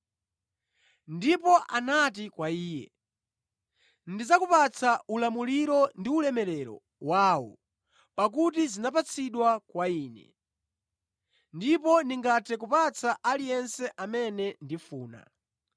Ndipo anati kwa Iye, “Ndidzakupatsani ulamuliro ndi ulemerero wawo; pakuti anandipatsa ine, ndipo ndingathe kupereka kwa aliyense amene ndikufuna.